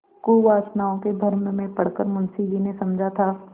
कुवासनाओं के भ्रम में पड़ कर मुंशी जी ने समझा था